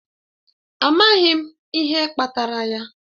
Amaghị m ihe kpatara ya.